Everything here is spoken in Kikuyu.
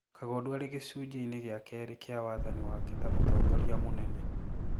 Kagondu arĩ gĩcunjĩ-ini gĩa kerĩ kĩa wathani wake ta mũtongoria mũnene